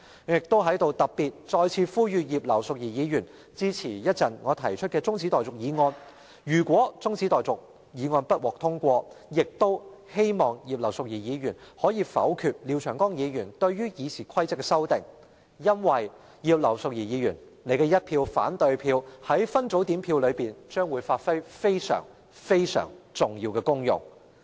我在此特別再次呼籲葉劉淑儀議員稍後支持我提出的中止待續議案，如果中止待續議案不獲通過，亦希望葉劉淑儀議員能否決廖長江議員對《議事規則》的修訂，因為葉劉淑儀議員的一票反對票在分組點票上將會發揮非常、非常重要的功用。